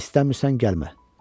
İstəmirsən, gəlmə!